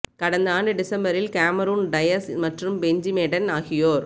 கடந்த ஆண்டு டிசம்பரில் கேமரூன் டயஸ் மற்றும் பெஞ்சி மேடன் ஆகியோர்